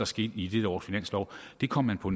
ske i det års finanslov det kom man på